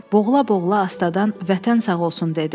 Boğula-boğula astadan vətən sağ olsun dedi.